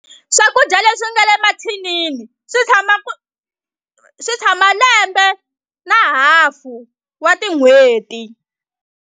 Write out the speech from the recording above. Swakudya leswi nga le mathinini swi tshama swi tshama lembe na hafu wa tin'hweti.